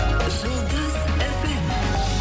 жұлдыз фм